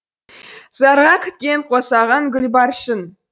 зарыға күткен қосағың гүлбаршын